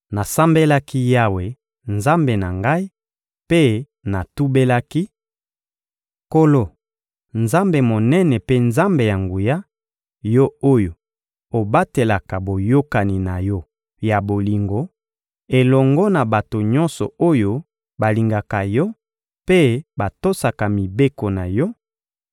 Nasambelaki Yawe, Nzambe na ngai, mpe natubelaki: «Nkolo, Nzambe monene mpe Nzambe ya nguya, Yo oyo obatelaka boyokani na Yo ya bolingo, elongo na bato nyonso oyo balingaka Yo mpe batosaka mibeko na Yo;